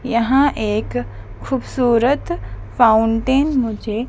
यहां एक खूबसूरत फाउंटेन मुझे--